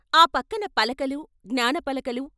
ఆ పక్కన పలకలు, జ్ఞాన పలకలు